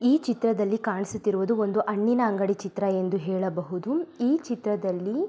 ಈ ಚಿತ್ರದಲ್ಲಿ ಕಾಣಿಸುತ್ತಿರುವುದು ಒಂದು ಹಣ್ಣಿನ ಅಂಗಡಿ ಚಿತ್ರ ಎಂದು ಹೇಳಬಹುದು. ಈ ಚಿತ್ರದಲ್ಲಿ--